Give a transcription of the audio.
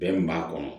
Bɛn min b'a kɔnɔ